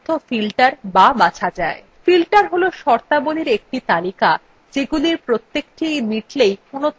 filter has শর্তাবলীর একটি তালিকা যেগুলির প্রত্যেকটি মিটলেই কোনো তথ্যকে দেখতে পারা যায়